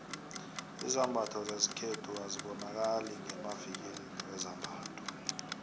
izambatho zesikhethu azibonakali ngemavikilini wezambatho